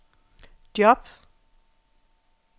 job